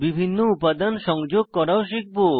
বিভিন্ন উপাদান সংযোগ করাও শিখব